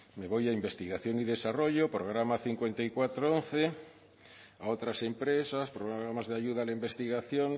me voy a investigación y desarrollo programa cinco mil cuatrocientos once a otras empresas programas de ayuda a la investigación